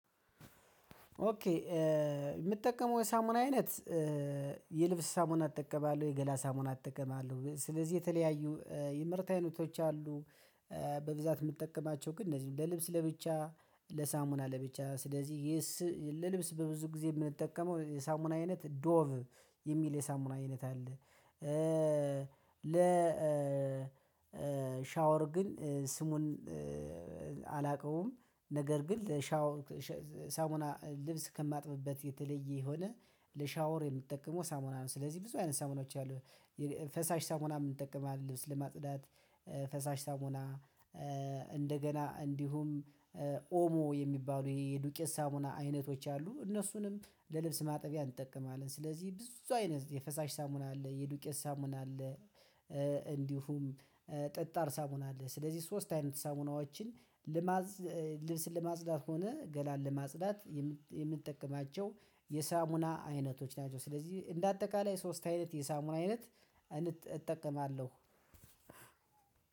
ኦኬ ምጠቀመው የሳሙና አይነት የልብስ ሳሙና እጠቀማለሁ፤ የገላ ሳሙና እጠቀማለሁ። ስለዚህ የተለያዩ የምርት አይነቶች አሉ በብዛት የምጠቀማቸው ግን እነዚህ ለልብስ ለብቻ፤ ለሳሙና ለብቻ ስለዚህ ለልብስ በብዙ ጊዜ የምንጠቀመው የሳሙና አይነት ዶቭ የሚል የሳሙና አይነት አለ። ለ ሻወር ግን ስሙን አላቀውም ነገር ግን ለሻው ሳሙና ልብስ ከማጥብበት የተለየ የሆነ ለሻወር የምጠቀመው ሳሙና ነው። ስለዚህ ብዙ አይነት ሳሙናዎች አሉ ፈሳሽ ሳሙናም እንጠቀማለን ልብስ ለማጽዳት ፈሳሽ ሳሙና፤ እንደገና እንዲሁም ኦሞ የሚባሉ ይሄ የዱቄት ሳሙና አይነቶች አሉ እነሱንም ለልብስ ማጠቢያ እንጠቀማለን። ስለዚህ ብዙ አይነት የፈሳሽ ሳሙና አለ፤ የዱቄት ሳሙና አለ፤ እንዲሁም ጠጣር ሳሙና አለ። ስለዚህ ሶስት አይነት ሳሙናዎችን ልብስን ለማጽዳት ሆነ ገላን ለማጽዳት የምጠቀማቸው የሳሙና አይነቶች ናቸው። ስለዚህ እንደ አጠቃላይ ሶስት አይነት የሳሙና አይነት እጠቀማለሁ።